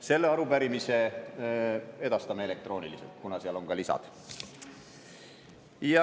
Selle arupärimise edastame elektrooniliselt, kuna sellel on ka lisad.